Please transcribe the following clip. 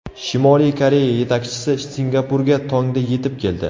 Shimoliy Koreya yetakchisi Singapurga tongda yetib keldi.